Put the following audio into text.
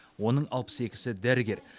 оның алпыс екісі дәрігер